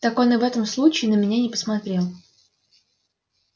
так он и в этом случае на меня не посмотрел